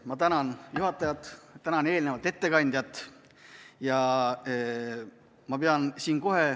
Ma tänan juhatajat, tänan eelnevat ettekandjat!